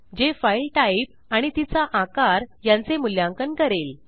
जे file type आणि तिचा आकार यांचे मूल्यांकन करेल